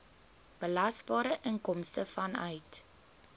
belasbare inkomste vanuit